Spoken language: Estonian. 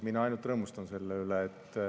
Mina ainult rõõmustan selle üle.